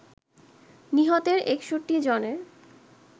নিহত৬১ জনের